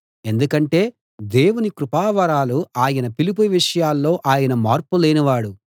ఎందుకంటే దేవుని కృపావరాలు ఆయన పిలుపు విషయాల్లో ఆయన మార్పు లేని వాడు